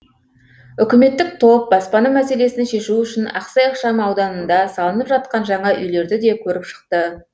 үкіметтік топ баспана мәселесін шешу үшін ақсай ықшам ауданында салынып жатқан жаңа үйлерді де көріп шықты